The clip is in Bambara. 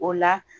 O la